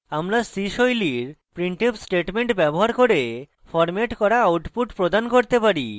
আমরা c style printf statement ব্যবহার করে ফরম্যাট করা output প্রদান করতে পারি